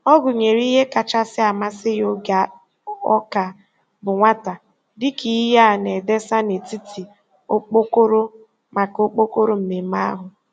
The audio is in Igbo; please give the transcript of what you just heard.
Ọ gụnyere ihe kachasị amasị ya oge ọ ka bụ nwata dị ka ihe a na-edesa n'etiti okpokoro maka okpokoro mmemme ahụ.